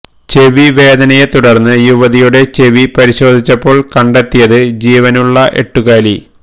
ചെവി വേദനയെ തുടര്ന്ന് യുവതിയുടെ ചെവി പരിശോധിച്ചപ്പോള് കണ്ടെത്തിയത് ജീവനുള്ള എട്ടുകാലി